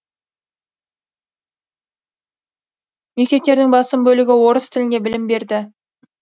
мектептердің басым бөлігі орыс тілінде білім берді